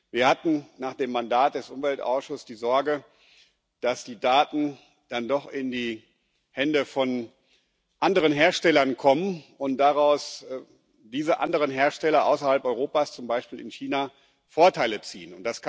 Wir hatten nach dem Mandat des Umweltausschusses die Sorge, dass die Daten dann doch in die Hände von anderen Herstellern kommen und diese anderen Hersteller außerhalb Europas, zum Beispiel in China, daraus Vorteile ziehen.